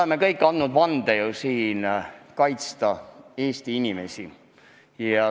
Me kõik oleme andnud siin vande kaitsta Eesti inimesi.